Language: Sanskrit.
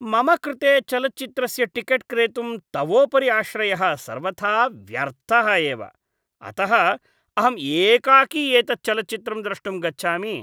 मम कृते चलच्चित्रस्य टिकेट् क्रेतुं तवोपरि आश्रयः सर्वथा व्यर्थः एव, अतः अहम् एकाकी एतत् चलच्चित्रं द्रष्टुं गच्छामि।